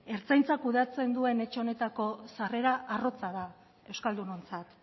ertzaintza kudeatzen duen etxe honetako sarrera arrotza da euskaldunontzat